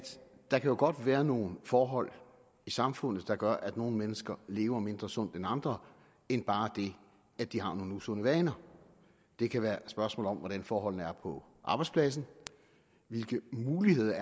der jo godt kan være nogle forhold i samfundet der gør at nogle mennesker lever mindre sundt end andre end bare det at de har nogle usunde vaner det kan være et spørgsmål om hvordan forholdene er på arbejdspladsen hvilke muligheder